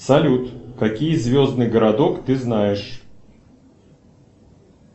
салют какие звездный городок ты знаешь